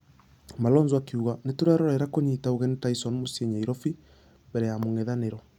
Malonza akĩuga Nĩtũrerorera kũnyita ũgeni tyson mũciĩ nyairobi mbere ya mũngethanĩro.